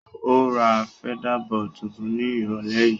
Ó ra feather-board tuntun ní ìrọ̀lẹ́ yìí.